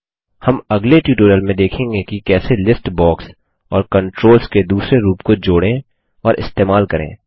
हम अगले ट्यूटोरियल में देखेंगे कि कैसे लिस्ट बॉक्स और कंट्रोल्स के दूसरे रूप को जोड़ें और इस्तेमाल करें